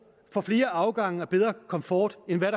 for flere afgange og bedre komfort end